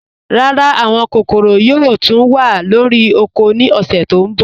Rárá, àwọn kòkòró yòò túń wà lórí ọ̀kọ̀ ní ọ̀ṣẹ̀ tó nbọ̀